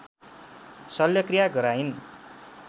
शल्यक्रिया गराइन्